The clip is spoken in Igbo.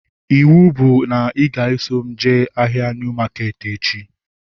Ịwụ bụ na ị ga-eso m jee ahịa Niu maketi echi